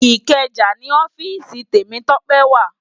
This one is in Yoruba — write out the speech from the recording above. Ikeja ni òfìsí Temitope wá